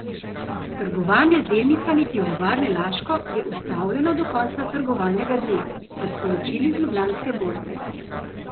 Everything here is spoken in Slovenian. Trgovanje z delnicami Pivovarne Laško je ustavljeno do konca trgovalnega dne, so sporočili z Ljubljanske borze.